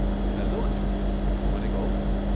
Hello Anju, મને કહો.